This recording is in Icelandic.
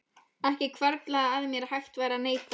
Ekki hvarflaði að mér að hægt væri að neita.